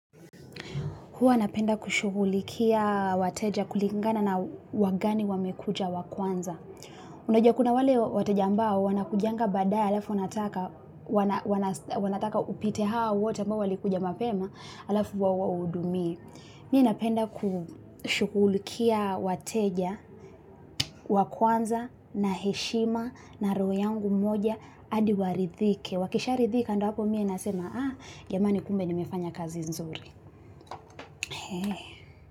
Huwa napenda kushugulikia wateja kulingana na wagani wamekuja wa kwanza. Unajua kuna wale wateja ambao wanakujanga baadaye alafu wanataka upite hao wote ambao walikuja mapema alafu huwaudumie. Mimi napenda kushukulikia wateja wa kwanza na heshima na roho yangu moja hadi waridhike. Wakisha ridhika ndo hapo mie nasema ah jamani kumbe ni mefanya kazi nzuri.